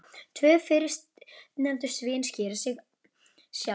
Tvö fyrstnefndu sviðin skýra sig sjálf.